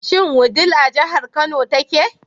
Shin Wudil a jihar Kano take?